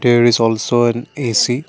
there is also an A_C.